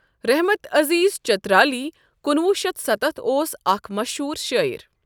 رحمت عزیز چترالی ۱۹۷۰ اوس اکھ مٔشہوٗر شٲعر۔